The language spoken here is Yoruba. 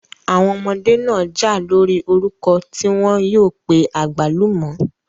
Àwọn ọmọdé náà jà lórí orúkọ tí wọ́n yóò pé àgbálùmọ̀.